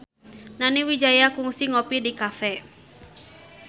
Nani Wijaya kungsi ngopi di cafe